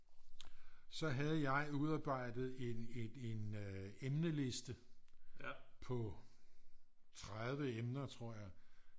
Så havde jeg udarbejdet en et en emneliste på 30 emner tror jeg